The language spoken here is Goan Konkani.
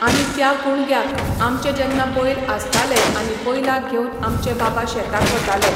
आनी त्या कुणग्याक, आमचे जेन्ना बैल आसताले आनी बैलाक घेवन आमचे बाबा शेताक वताले.